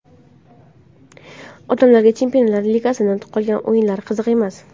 Odamlarga Chempionlar ligasining qolgan o‘yinlari qiziq emas.